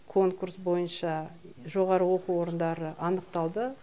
конкурс бойынша жоғары оқу орындары анықталды